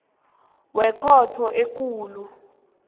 wekhotho ekulu isigaba